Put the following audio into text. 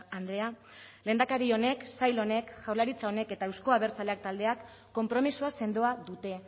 andrea lehendakari honek sail honek jaurlaritza honek eta euzko abertzaleak taldeak konpromisoa sendoa dute